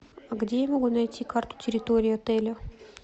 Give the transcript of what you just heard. где я могу найти карту территории отеля